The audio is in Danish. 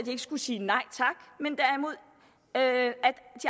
skulle sige nej tak men at de